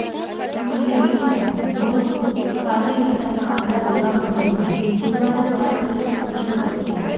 જૂની દિલ્હીના હૌજ કાઝી વિસ્તારમાં આવેલા દુર્ગા મંદિરમાં બુધવારે સવારે ફરીથી પૂજા શરૂ થઈ